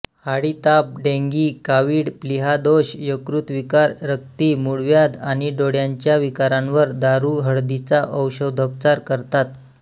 हाडीताप डेंगी कावीळ प्लीहादोष यकृतविकार रक्ती मुळव्याध आणि डोळ्यांच्या विकारांवर दारुहळदीचा औषधोपचार करतात